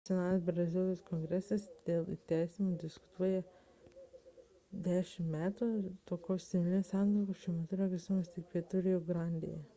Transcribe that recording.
nacionalinis brazilijos kongresas dėl įteisinimo diskutuoja 10 metų o tokios civilinės santuokos šiuo metu yra teisėtos tik pietų rio grandėje